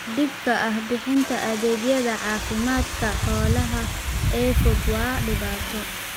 Dhibka ah bixinta adeegyada caafimaadka xoolaha ee fog waa dhibaato.